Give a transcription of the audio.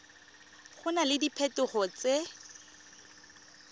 go na le diphetogo tse